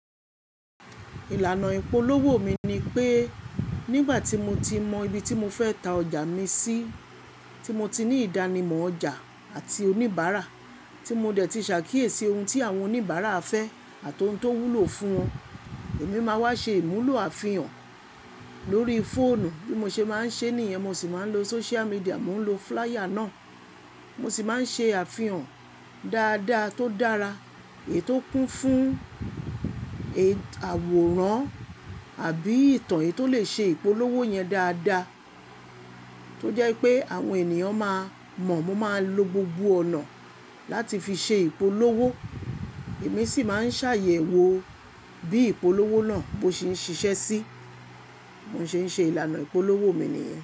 Ìlànà ìpolówó mi ni pé nígbà tí mo ti mọ ibi tí mo fẹ́ ta ọjà mi sí, tí mo ti ní ìdánimọ̀ ọjà àti oníbàárà, tí mo dẹ̀ ti ṣàkíyèsí ohun tí àwọn oníbàárà fẹ́ àti ohun tó wúlò fún wọn, èmi máa wá ṣe ìmúlò àfihàn lórí fóònù bí mo ṣe máa ń ṣe nìyẹn, mo sì máa ń lo social media, mo ń lo flier náà. Mo sì máa ń ṣe àfihàn dáadáa tó dára èyí tó kún fún ètò àwòrán àbí ìtàn èyí tó lè ṣe ìpolówó yẹn dáadáa tó jẹ́ pé àwọn ènìyàn máa mọ̀. Mo máa lo gbogbo ọ̀nà láti fi ṣe ìpolówó. Èmi sì máa ń ṣàyẹ̀wò bí ìpolówó náà bó ṣe ń ṣiṣẹ́ sí i. Mo sì ń ṣe ìlànà ìpolówó mi nìyẹn.